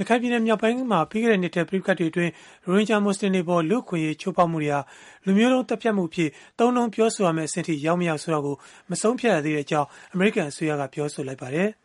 ရခိုင်ပြည်နယ်မြောက်ပိုင်းက ပြီးခဲ့တဲ့နှစ်ထဲ ပဋိပက္ခတွေအတွင်း ရိုဟင်ဂျာမူဆလင်တွေအပေါ် လူ့အခွင့်အရေး ချိုးဖောက်မှုတွေဟာ လူမျိုးတုန်း သတ်ဖြတ်မှုအဖြစ် သုံးနှုန်းပြောဆိုရမယ့် အဆင့်အထိ ရောက်-မရောက် ဆိုတာကို မဆုံးဖြတ်ရသေးကြောင်း အမေရိကန် အစိုးရက ပြောဆိုလိုက်ပါတယ်။